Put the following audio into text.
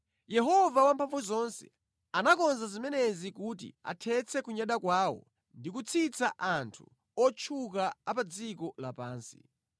Yehova Wamphamvuzonse anakonza zimenezi kuti athetse kunyada kwawo ndi kutsitsa anthu otchuka a pa dziko lapansi.